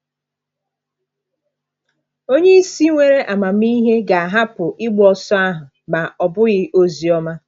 Onye isi nwere amamihe ga-ahapụ ịgba ọsọ ahụ—ma ọ bụghị Ozioma.